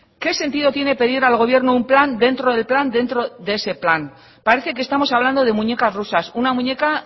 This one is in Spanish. qué sentido tiene pedir al gobierno un plan dentro del plan dentro de ese plan parece que estamos hablando de muñecas rusas una muñeca